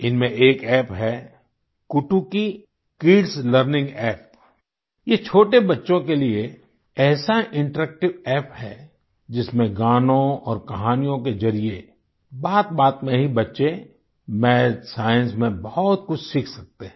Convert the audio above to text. इनमें एक अप्प है कुटुकी किड्स लर्निंग अप्प ये छोटे बच्चों के लिए ऐसा इंटरेक्टिव अप्प है जिसमें गानों और कहानियों के जरिए बातबात में ही बच्चे माथ साइंस में बहुत कुछ सीख सकते हैं